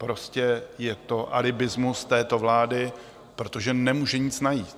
Prostě je to alibismus této vlády, protože nemůže nic najít.